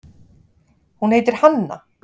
Hún heitir Hanna.